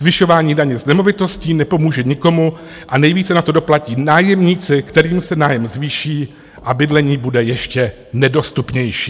Zvyšování daně z nemovitostí nepomůže nikomu a nejvíce na to doplatí nájemníci, kterým se nájem zvýší a bydlení bude ještě nedostupnější.